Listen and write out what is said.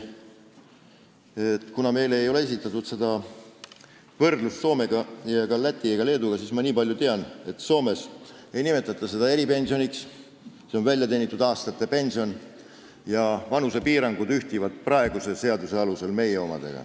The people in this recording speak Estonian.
Meile ei ole esitatud seda võrdlust Soomega ega Läti ja Leeduga, aga ma niipalju tean, et Soomes ei nimetata seda eripensioniks, see on väljateenitud aastate pension, ja vanusepiirangud ühtivad nendega, mis on meie praeguses seaduses.